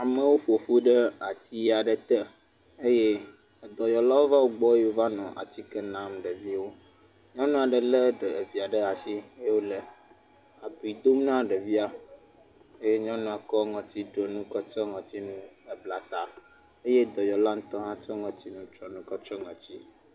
Amewo ƒo ƒu ɖe ati aɖe te eye edɔyɔlawo va wogbɔ eye wova nɔ atike nam ɖeviwo. Nyɔnu aɖe lé ɖevia ɖe asi eye wole abiu dom na ɖevia. Eye nyɔnua kɔ ŋɔtidonu kɔtsyɔ ŋɔtinu hebla ta eye dɔyɔla ŋutɔ hã tsɔ ŋɔtinutsyɔnu kɔtsyɔ ŋɔti.